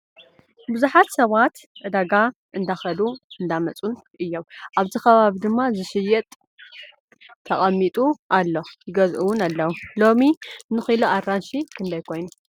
ብዙሓት ሰባት ዕዳጋ እንዳከዱን እንዳመፁን እዮም። ኣብዚ ከባቢ ድማ ንክሽየጥ ተቀሚጡ ኣሎ። ይገዝኡ እውን ኣለው። ሎሚ ንኪሎ ኣራንሺ ክንዳይ ኮይኑ ?